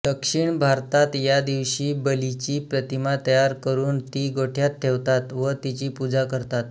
दक्षिण भारतात या दिवशी बलीची प्रतिमा तयार करून ती गोठ्यात ठेवतात व तिची पूजा करतात